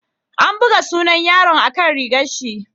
An buga sunan yaron a'kan rigan shi.